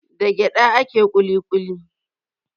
Da gyaɗa ake kuli kuli.